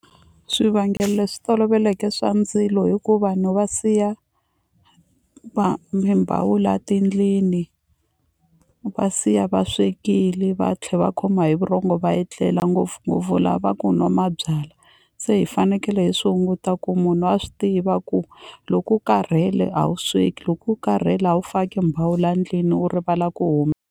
Swivangelo leswi toloveleke swa ndzilo hi ku vanhu va siya mimbhawula tindlini va siya va swekile va tlhe va khoma hi vurhongo va etlela ngopfungopfu lava ku nwa mabyala se hi fanekele hi swi hunguta ku munhu a swi tiva ku loko u karhele a wu sweki loko u karhele a wu faki mbhawula ndlwini u rivala ku .